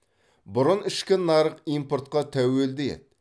бұрын ішкі нарық импортқа тәуелді еді